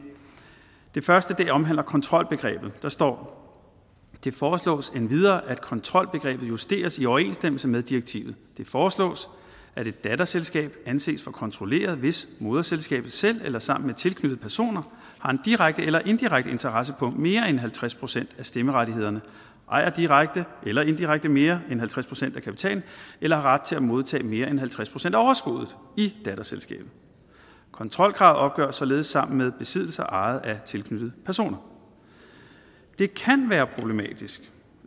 første omhandler kontrolbegrebet der står det foreslås endvidere at kontrolbegrebet justeres i overensstemmelse med direktivet det foreslås at et datterselskab anses for kontrolleret hvis moderselskabet selv eller sammen med tilknyttede personer har en direkte eller indirekte interesse på mere end halvtreds procent af stemmerettighederne ejer direkte eller indirekte mere end halvtreds procent af kapitalen eller har ret til at modtage mere end halvtreds procent af overskuddet i datterselskabet kontrolkravet opgøres således sammen med besiddelser ejet af tilknyttede personer det kan være problematisk